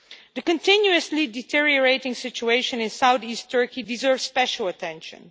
The continually deteriorating situation is South East Turkey deserves special attention.